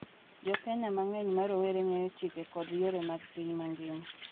Jo Kenya mang’eny ma rowere ng’eyo chike kod yore mag piny mangima,